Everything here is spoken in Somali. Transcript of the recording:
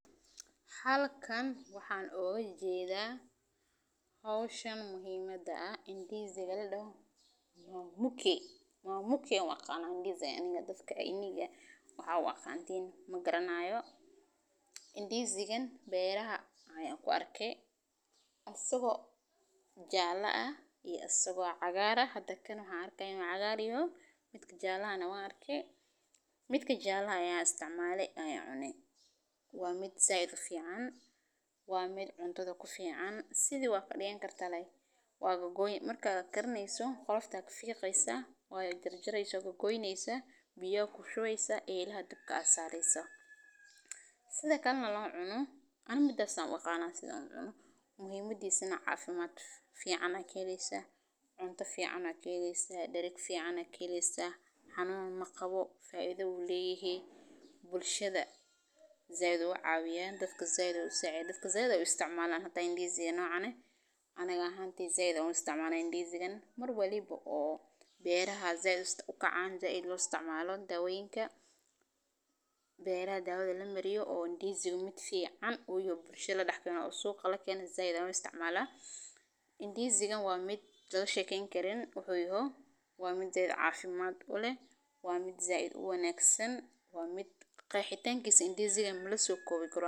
Halkan waxan oga jeda howshan muhiimaada eh indisigan mamuke ayan u aqana aniga waxaa u aqantin magaranayo, indisigan beeraha ayan ku arke isago jala ah iyo asago cagar ah hada cagar iyo midka jalaha ayan arke midka jalaha ayan isticmale waa miid said ufican waa mid said cuntadha kufican si biya aya kushuweysa dabka aya sareysa sitha lo cuno aniga midas ayan u aqana muhiim adisana cafimaad fican aya ka heleysa cunto fican aya ka heleysa darag fican aya ka helsa xanun maqawo bulshaada said ayu ucawiya dadka said ayu u cawiya aniga ahan said aya u isticmala mar walibo beeraha u kacan beeraha dawadha lamariyo oo indisiga u kamiid yoho suqa lakeno said ayan u isticmala, indisigan waa mid laga shekeyni karin wuxu u yaho waa mid cafimaad uleh waa mid said u wanagsan indisigan malaso kowi karo.